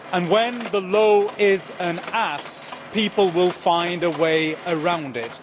When the law is an ass, people will find a way around it.